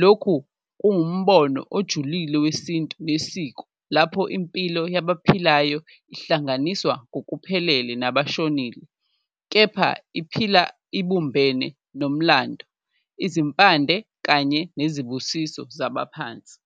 lokhu kuwumbono ojulile wesintu nesiko lapho impilo yabo ophilayo ihlanganiswa ngokuphelele nabashonile, kepha iphila ibumbene nomlando, izimpande kanye nezibusiso zabaphansi.